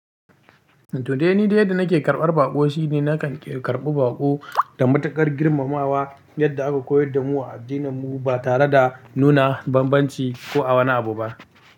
To dai ni dai yadda nake karɓar baƙo shine nakan karɓi baƙo da matuƙar girmamawa yadda aka koyar da mu a addininmu ba tare da nuna bambanci ko a wani abu ba.